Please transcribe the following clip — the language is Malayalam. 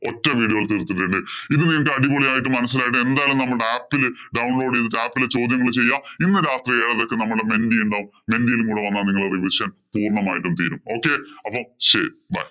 ഒറ്റ video യില്‍ തീര്‍ത്തിട്ടുണ്ട്. ഇത് നിങ്ങക്ക് അടിപൊളി ആയിട്ട് മനസിലായിട്ട് എന്തായാലും നമ്മുടെ app ഇല് download ചെയ്തിട്ട് app ഇലെ ചോദ്യങ്ങള്‍ ചെയ്യുക. ഇന്ന് രാത്രി എഴരക്ക്‌ നമ്മുടെ menti ഉണ്ടാവും. Menti യിലും കൂടി വന്നാ നിങ്ങടെ revision പൂര്‍ണ്ണമായിട്ടും തീരും. അപ്പം ശരി. Bye